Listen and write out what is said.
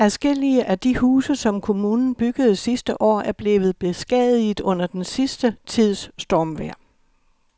Adskillige af de huse, som kommunen byggede sidste år, er blevet beskadiget under den sidste tids stormvejr.